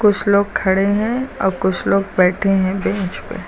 कुछ लोग खड़े हैं और कुछ लोग बैठे हैं बेंच पे।